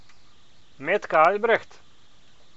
Metka Albreht?